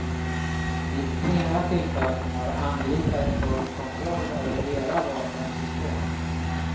Vid flera tillfällen har angripare tagit kontroll över hela vapensystem.